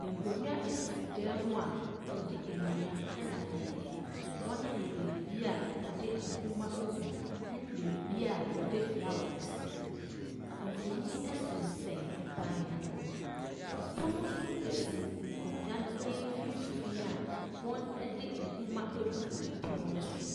Nkonnwa sisi dan mu a wɔde nnua na ayɛ. Wɔayɛ baabi a wɔde nwoma gu ne baabi a wɔde flowre si. Mfonin sensɛn ban no ho. Pono nso si nkonnwa no mfimfini a wɔde nwoma gugu pono nso so.